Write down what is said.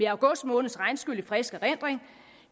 august måneds regnskyl i frisk erindring